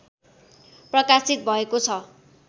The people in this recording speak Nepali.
प्रकाशित भएको छ